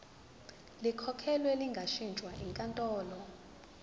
likhokhelwe lingashintshwa yinkantolo